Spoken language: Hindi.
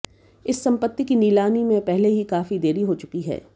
इस संपत्ति की नीलामी में पहले ही काफी देरी हो चुकी है